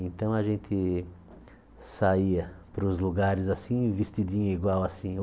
Então a gente saía para os lugares assim vestidinho igual assim.